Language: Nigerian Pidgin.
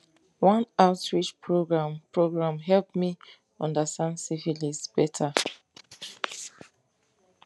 one outreach program program help me understand syphilis better